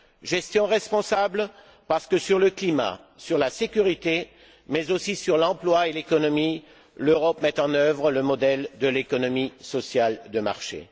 Gestion responsable, parce que sur le climat, sur la sécurité, mais aussi sur l'emploi et l'économie, l'Europe met en œuvre le modèle de l'économie sociale de marché.